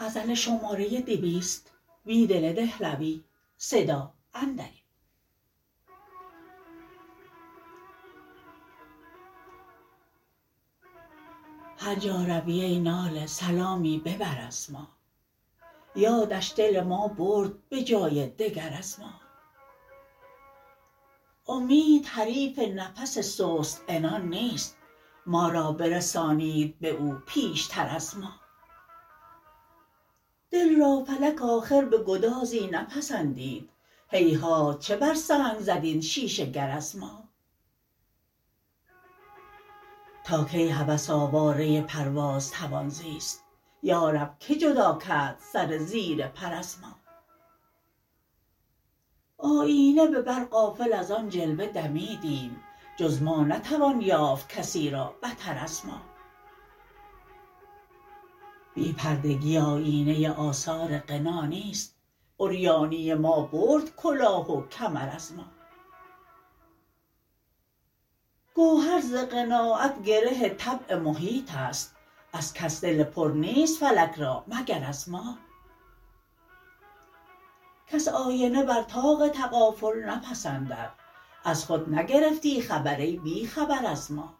هرجا روی ای ناله سلامی ببر ازما یادش دل ما برد به جای دگر از ما امید حریف نفس سست عنان نیست ما را برسانید به او پیشتر از ما دل را فلک آخر به گدازی نپسندید هیهات چه برسنگ زد این شیشه گراز ما تاکی هوس آواره پرواز توان زیست یارب که جداکرد سر زیر پر از ما آیینه به بر غافل از آن جلوه دمیدیم جز ما نتوان یافت کسی را بتر از ما بی پردگی آیینه آثار غنا نیست عریانی ما برد کلا ه وکمر از ما گوهر ز قناعت گره طبع محیط است ازکس دل پر نیست فلک را مگر از ما کس آینه بر طاق تغافل نپسندد از خود نگرفتی خبر ای بیخبر از ما